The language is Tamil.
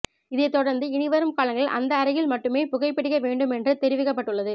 இதைத்தொடர்ந்து இனிவரும் காலங்களில் அந்த அறையில் மட்டுமே புகைப் பிடிக்க வேண்டும் என்று தெரிவிக்கப்பட்டுள்ளது